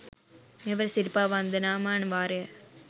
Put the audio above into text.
මෙවර සිරිපා වන්දනාමාන වාරය